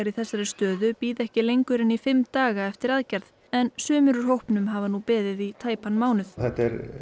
þessari stöðu bíði ekki lengur en í fimm daga eftir aðgerð en sumir úr hópnum hafa nú beðið í tæpan mánuð þetta